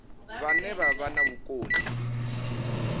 vhane vha vha na vhukoni